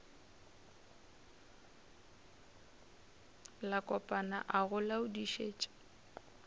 la kopana a go laodišetša